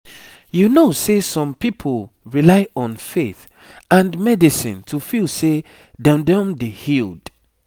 you know sehsome people rely on faith and medicine to feel seh them don dey healed